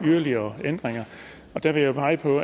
yderligere ændringer der vil jeg pege på